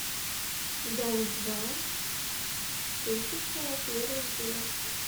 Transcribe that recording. дом два тысяча первый день